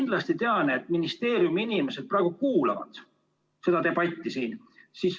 Ma tean, et ministeeriumi inimesed praegu kuulavad seda debatti siin.